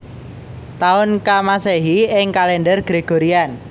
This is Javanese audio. Taun ka Masehi ing kalèndher Gregorian